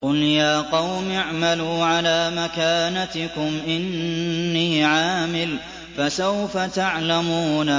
قُلْ يَا قَوْمِ اعْمَلُوا عَلَىٰ مَكَانَتِكُمْ إِنِّي عَامِلٌ ۖ فَسَوْفَ تَعْلَمُونَ